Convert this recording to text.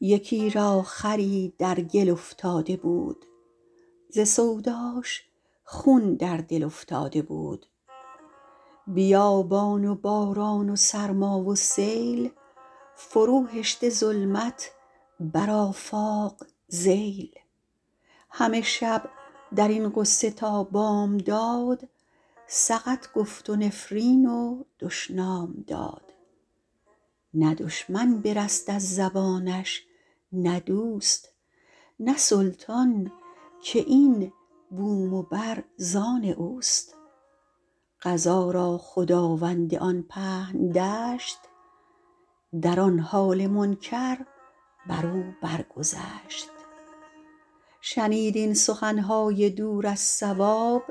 یکی را خری در گل افتاده بود ز سوداش خون در دل افتاده بود بیابان و باران و سرما و سیل فرو هشته ظلمت بر آفاق ذیل همه شب در این غصه تا بامداد سقط گفت و نفرین و دشنام داد نه دشمن برست از زبانش نه دوست نه سلطان که این بوم و بر زآن اوست قضا را خداوند آن پهن دشت در آن حال منکر بر او بر گذشت شنید این سخن های دور از صواب